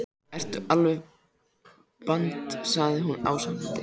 Ertu alveg band sagði hún ásakandi.